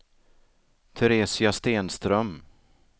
Teresia Stenström